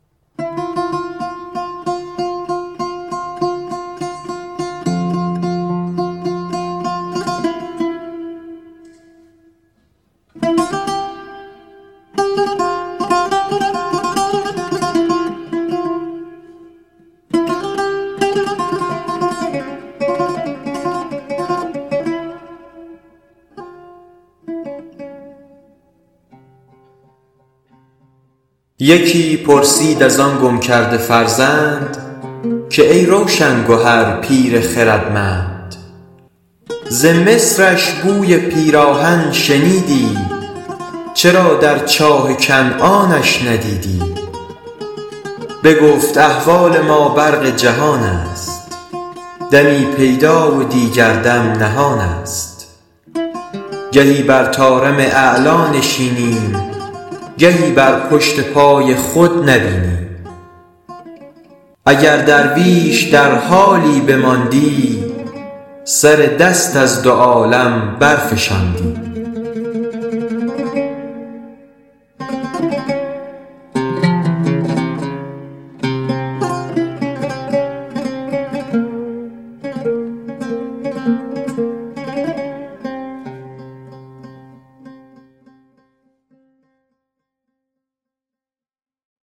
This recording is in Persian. یکی پرسید از آن گم کرده فرزند که ای روشن گهر پیر خردمند ز مصرش بوی پیراهن شنیدی چرا در چاه کنعانش ندیدی بگفت احوال ما برق جهان است دمی پیدا و دیگر دم نهان است گهی بر طارم اعلیٰ نشینیم گهی بر پشت پای خود نبینیم اگر درویش در حالی بماندی سر دست از دو عالم برفشاندی